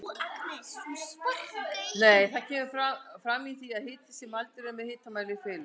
Það kemur fram í því að hiti sem mældur er með hitamæli fellur.